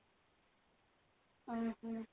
ଓଃ ହୋ